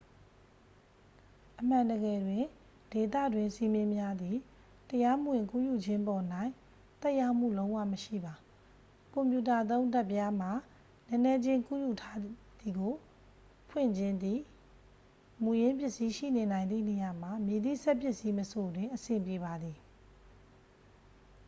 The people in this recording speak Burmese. အမှန်တကယ်တွင် ဒေသတွင်းစည်းမျဉ်းများသည် တရားမဝင်ကူးယူခြင်းပေါ်၌ သက်ရောက်မှုလုံးဝမရှိပါ ကွန်ပြူတာသုံး ဓာတ်ပြားမှ နည်းနည်းချင်းကူးယူထားသည်ကို ဖွင့်ခြင်းသည့် မူရင်းပစ္စည်းရှိနေနိုင်သည့်နေရာမှ မည်သည့်စက်ပစ္စည်းမဆိုတွင် အဆင်ပြေပါသည်